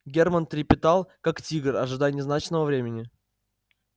германн трепетал как тигр ожидая назначенного времени